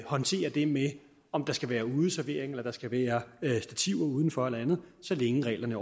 håndtere det med om der skal være udeservering eller der skal være stativer uden for eller andet så længe reglerne